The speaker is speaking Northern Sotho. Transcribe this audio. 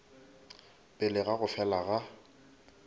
pele ga go fela ga